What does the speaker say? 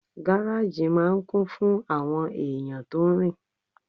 Gáràjì máà ń kún fún àwọn èèyàn tó rin